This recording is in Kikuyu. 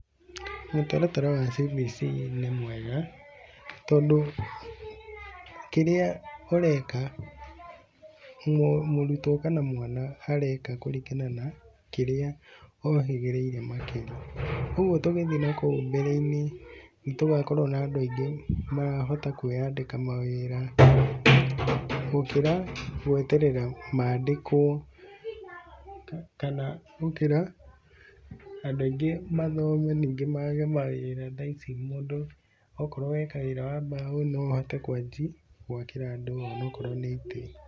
Mũtaratara wa CBC nĩ mwega tondũ kĩrĩa ũreka nĩ mũrutwo kana mwana areka kũringana na kĩrĩa ohĩgĩrĩire makĩria, ũguo tũgĩthiĩ na kũu mbere-inĩ nĩ tũgakorwo na andũ aingĩ marahota kwĩyandĩka mawĩra gũkĩra gweterera mandĩkwo kana gũkĩra andũ aingĩ mathome ningĩ mage mawĩra thaa ici mũndũ okorwo weka wĩra wa mbaũ na ũhote kwanjia gwakĩra andũ onakorwo nĩ itĩ.